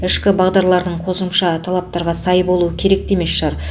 ішкі бағдарлардың қосымша талаптарға сай болуы керек те емес шығар